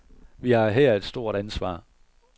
Vi har her et stort ansvar.